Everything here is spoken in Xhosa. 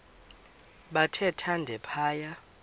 bathe thande phaya